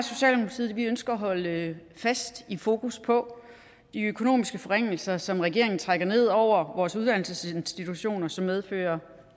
at socialdemokratiet ønsker at holde fast i fokus på de økonomiske forringelser som regeringen trækker ned over vores uddannelsesinstitutioner og som medfører